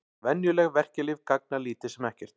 Venjuleg verkjalyf gagna lítið sem ekkert.